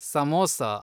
samosa